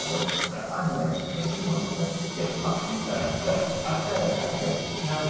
ሰዎች በአንድ ላይ የሚኖሩበት የማህበረሰብ አደረጃጀት ነው።